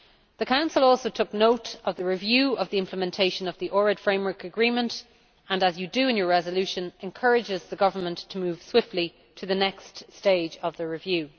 The Council also took note of the review of the implementation of the Ohrid Framework Agreement and, as you do in your resolution, encourages the government to move swiftly to the next stage of the review.